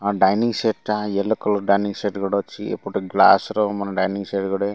dining ସେଟଟା yellow colour dining set ଗୋଟେ ଅଛି ଏପଟେ ଗ୍ଲାସର ଡାଇନିଂ ସେଟ ଗୋଟେ --